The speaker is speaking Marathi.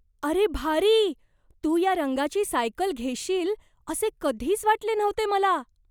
अरे, भारी! तू या रंगाची सायकल घेशील असे कधीच वाटले नव्हते मला.